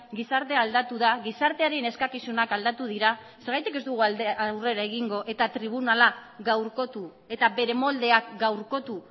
gizartea aldatu da gizartearen eskakizunak aldatu dira zergatik ez dugu aurrera egingo eta tribunala gaurkotu eta bere moldeak gaurkotu